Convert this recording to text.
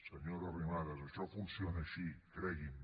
senyora arrimadas això funciona així cregui’m